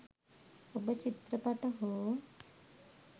ඔබ චිත්‍රපට හෝ